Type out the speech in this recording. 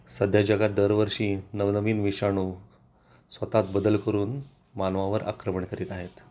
सध्या जगात दरवर्षी नवनवीन विषाणू स्वतःत बदल करून मानवावर आक्रमण करीत आहेत